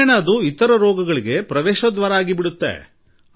ವಿಭಿನ್ನ ಕಾಯಿಲೆಗಳಿಗೆ ಅದು ಪ್ರವೇಶ ದ್ವಾರವಾಗುತ್ತದೆ